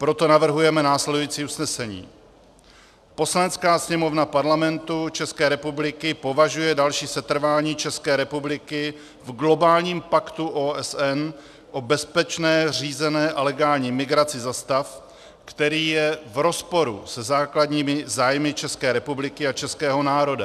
Proto navrhujeme následující usnesení: Poslanecká sněmovna Parlamentu České republiky považuje další setrvání České republiky v globálním paktu OSN o bezpečné, řízené a legální migraci za stav, který je v rozporu se základními zájmy České republiky a českého národa.